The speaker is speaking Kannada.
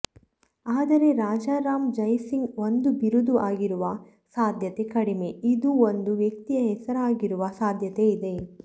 ಆದರೆ ರಾಜಾರಾಮ ಜಯಸಿಂಗ ಒಂದು ಬಿರುದು ಆಗಿರುವ ಸಾಧ್ಯತೆ ಕಡಿಮೆ ಇದು ಒಂದು ವ್ಯಕ್ತಿಯ ಹೆಸರಾಗಿರುವ ಸಾಧ್ಯತೆ ಇದೆ